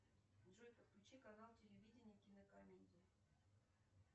джой подключи канал телевидения кинокомедии